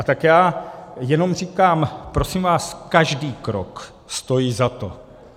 A tak já jenom říkám - prosím vás, každý krok stojí za to.